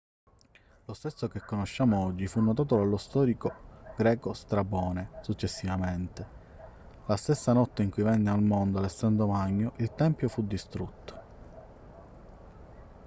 lo stesso che conosciamo oggi fu notato dallo storico greco strabone successivamente. la stessa notte in cui venne al mondo alessandro magno il tempio fu distrutto